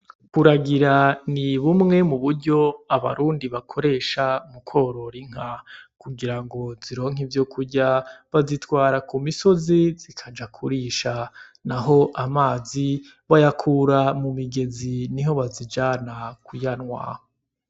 Kuragira ni bumwe mu buryo abarundi bakoresha mu kworora inka, kugira ngo zironke ivyokurya bazitwara ku misozi zikaja kurisha, naho amazi bayakura mu migezi niho bazijana kuyanwa.